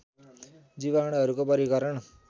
जीवाणुहरूको वर्गीकरण